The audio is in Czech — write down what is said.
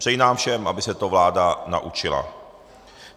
Přeji nám všem, aby se to vláda naučila.